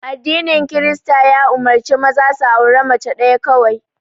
Addinin Kirista ya umurce maza da auren mace ɗaya kawai